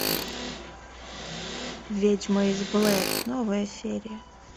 ведьма из блэр новая серия